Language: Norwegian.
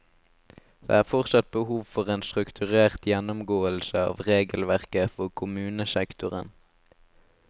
Det er fortsatt behov for en strukturert gjennomgåelse av regelverket for kommunesektoren.